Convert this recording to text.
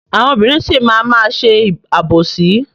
Àwọn obìnrin sì máa má ṣe àbòsí.